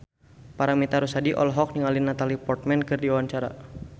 Paramitha Rusady olohok ningali Natalie Portman keur diwawancara